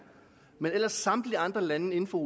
men ellers ligger samtlige andre lande inden for